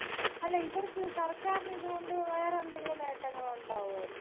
അല്ല ഇവർക്ക് സർക്കാര്ന് ഇത്കൊണ്ട് വേറെന്തെങ്കിലും നേട്ടങ്ങളുണ്ടാവു ആയിരിക്കൊ.